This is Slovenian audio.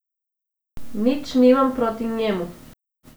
Nič nimam proti njemu.